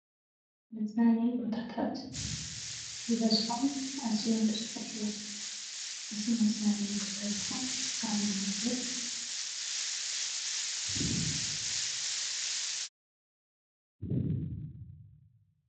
መዝናነዪ ቦታታት ብበዝሖም ኣዝዮም ብዙሓት እዮም፡፡ እዚ መዝናነዪ ቦታ እዚ ኸ ኣበይ ቦታ ይርከብ?